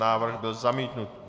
Návrh byl zamítnut.